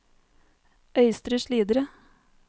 Øystre Slidre